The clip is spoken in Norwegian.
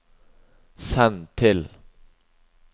send til